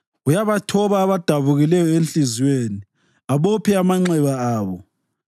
Uyabathoba abadabukileyo enhliziyweni abophe amanxeba abo.